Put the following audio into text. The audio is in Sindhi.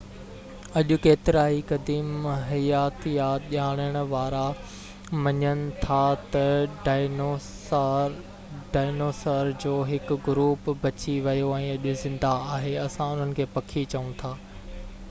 اڄ ڪيترائي قديم حياتيات ڄاڻڻ وارا مڃن ٿا تہ ڊائنوسار جو هڪ گروپ بچي ويو ۽ اڄ زنده آهي اسان انهن کي پکي چئون ٿا